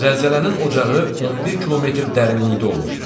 Zəlzələnin ocağı 11 kilometr dərinlikdə olmuşdu.